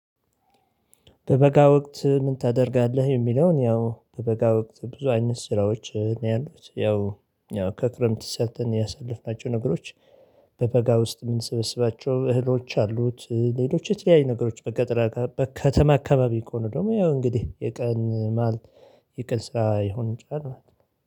በበጋ ወቅት ምን ታደርጋለህ የሚለውን ያው በበጋ ወቅት ብዙ አይነት ስራዎች ነው ያሉት። ያው ከክረምት ሰርተን ያሳለፍናቸው ነገሮች በበጋ ውስጥ የምንሰበስባቸው እህሎች አሉት ሌሎች የተለያየ ነገሮች በገጠራ በከተማ አካባቢ ከሆነ ደግሞ ያው እንግዲህ የቀን የቀን ስራ ሊሆን ይችላል።